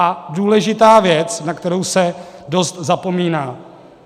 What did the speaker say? A důležitá věc, na kterou se dost zapomíná.